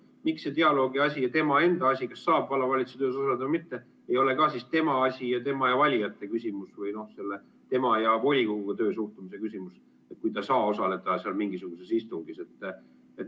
Miks see dialoogi asi ja tema enda asi, kas saab vallavalitsuse töös osaleda või mitte, ei ole ka siis tema asi ja tema ning tema valijate vaheline küsimus või tema ja volikogu töösse suhtumise küsimus, kui ta ei saa mingisugusel istungil osaleda?